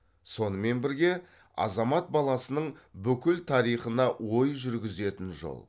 сонымен бірге азамат баласының бүкіл тарихына ой жүргізетін жол